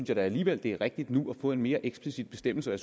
jeg da alligevel at det er rigtigt nu at få en mere eksplicit bestemmelse og